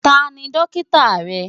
Ta ni dókítà rẹ?